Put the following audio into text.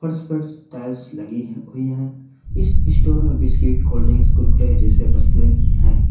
फर्श पर टाइल्स लगी हैं इस स्टोर मे बिस्किट कोल्ड ड्रिंकस कुरकुरे जैसे वस्तुएं हैं।